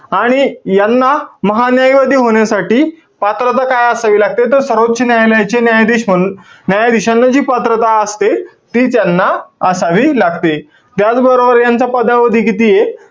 आणि यांना महान्यायवादी होण्यासाठी पात्रता काय असावी लागते? तर सर्वोच्च न्यायालयाचे न्यायाधीश म्हणून न्यायाधीशांना जी पात्रता असते, ती त्यांना असावी लागते. त्याचबरोबर, त्यांचा पदावधी कितीय?